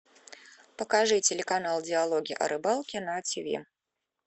покажи телеканал диалоги о рыбалке на тв